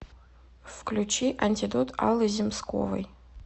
включи антидот аллы земсковой